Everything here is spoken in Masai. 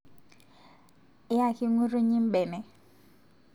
Yaaki nkutinyi mbene